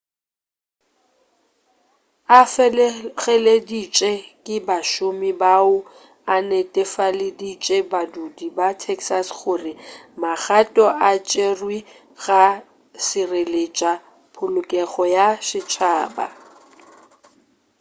a fegeleditše ke bašomi bao o netefaleditše badudi ba texas gore magato a tšerwa go šireletša polokego ya setšhaba